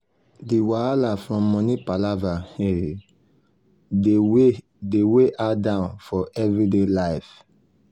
the wahala from money palava dey weigh dey weigh her down for everyday life.